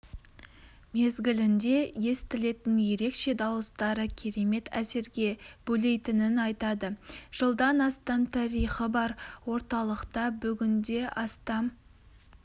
мезгілінде естілетін ерекше дауыстары керемет әсерге бөлейтінін айтады жылдан астам тарихы бар орталықта бүгінде астам